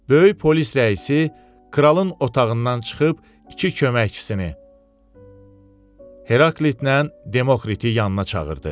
Böyük polis rəisi kralın otağından çıxıb iki köməkçisini Heraklitlə Demokriti yanına çağırdı.